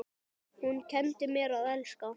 Páll hrífst af ávöxtum jarðar.